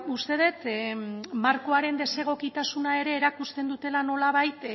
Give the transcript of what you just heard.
uste dut markoaren desegokitasuna ere erakusten dutela nolabait